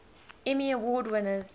emmy award winners